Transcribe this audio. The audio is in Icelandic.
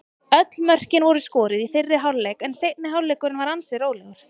Öll mörkin voru skoruð í fyrri hálfleik en seinni hálfleikurinn var ansi rólegur.